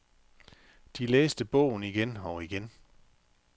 De læste bogen igen og igen.